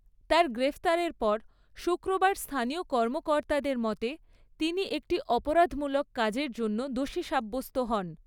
তার গ্রেফতারের পর, শুক্রবার স্থানীয় কর্মকর্তাদের মতে, তিনি একটি 'অপরাধমূলক কাজের' জন্য দোষী সাব্যস্ত হন।